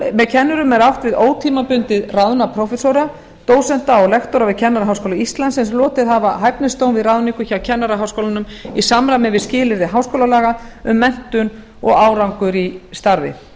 með kennurum er átt við ótímabundið ráðna prófessora dósenta og lektora við kennaraháskóla íslands sem hlotið hafa hæfnispróf við ráðningu hjá kennaraháskólanum í samræmi við skilyrði háskólalaga um menntun og árangur í starfi